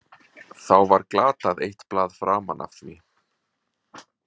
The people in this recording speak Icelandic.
Þá var glatað eitt blað framan af því.